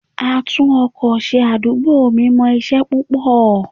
A tún-ọkọ ṣe àdúgbò mi mọ isẹ púpò.